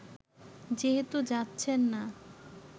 যেহেতু যাচ্ছেন না